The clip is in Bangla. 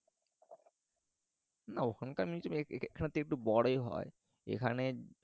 না ওখানকার museum এখএখানের হেকে একটু বড়ই হয় এখানে